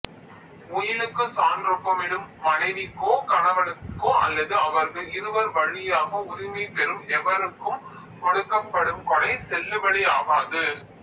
உயிலுக்குச் சான்றொப்பமிடும் மனைவிக்கோ கணவனுக்கோ அல்லது அவர்கள் இருவர் வழியாக உரிமை பெறும் எவருக்கும் கொடுக்கப்படும் கொடை செல்லுபடியாகாது